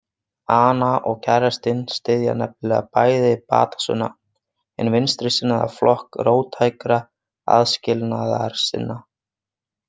Ana og kærastinn styðja nefnilega bæði Batasuna, hinn vinstrisinnaða flokk róttækra aðskilnaðarsinna.